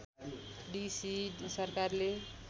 D C सरकारले